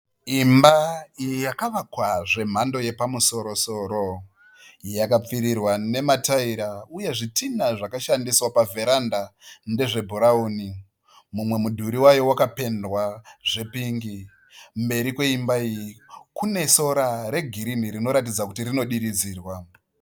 Imba yakavakwa zvemhando yepa musorosoro, yakapfirirwa nemataira uye zvitinha zvakashandiswa pavheranda ndezve bhurauni. Mumwe mudhuri wayo wakapendwa zvepingi. Mberi kweimba iyi kune sora re girini rinoratidza kuti rinodiridzirwa.